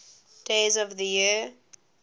days of the year